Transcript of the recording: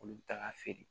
Olu bɛ taga feere